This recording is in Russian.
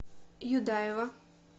юдаева